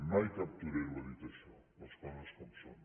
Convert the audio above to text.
mai cap torero ha dit això les coses com són